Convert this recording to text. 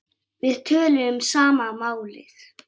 Við töluðum sama málið.